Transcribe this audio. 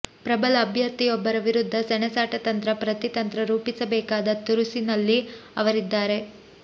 ಪ್ರಬಲ ಅಭ್ಯರ್ಥಿಯೊಬ್ಬರ ವಿರುದ್ಧ ಸೆಣಸಾಟ ತಂತ್ರ ಪ್ರತಿತಂತ್ರ ರೂಪಿಸಬೇಕಾದ ತುರುಸಿನಲ್ಲಿ ಅವರಿದ್ದಾರೆ